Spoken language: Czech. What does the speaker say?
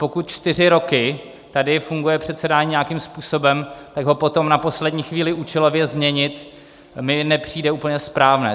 Pokud čtyři roky tady funguje předsedání nějakým způsobem, tak ho potom na poslední chvíli účelově změnit mi nepřijde úplně správné.